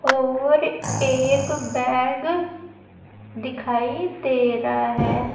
और एक बैग दिखाई दे रहा है।